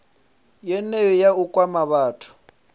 yeneyo nga u kwama vhathu